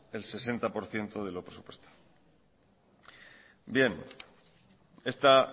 al sesenta por ciento de los presupuestado bien esta